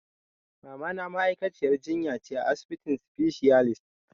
Mamana ma'aikaciyar jinya ce a asibitin specialist.